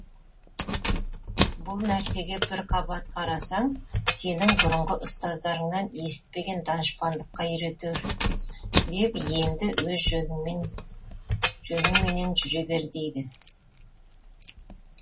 бұл нәрсеге бір қабат қарасаң сенің бұрынғы ұстаздарыңнан есітпеген данышпандыққа үйретер деп енді өз жөніңмен жөніңменен жүре бер дейді